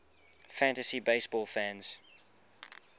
fantasy baseball fans